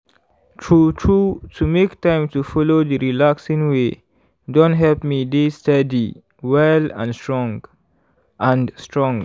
true true to make time to follow d relaxing way don help me dey steady well and strong. and strong.